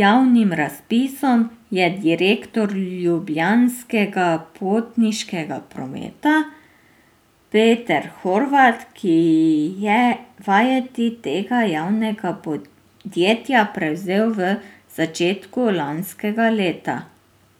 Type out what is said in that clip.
javnim razpisom, je direktor Ljubljanskega potniškega prometa Peter Horvat, ki je vajeti tega javnega podjetja prevzel v začetku lanskega leta.